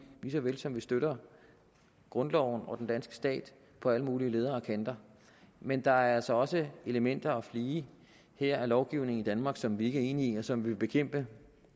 lige så vel som vi støtter grundloven og den danske stat på alle mulige ledder og kanter men der er altså også elementer og flige her af lovgivningen i danmark som vi ikke er enige i og som vi vil kæmpe